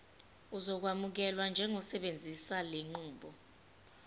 uzokwamukelwa njengosebenzisa lenqubo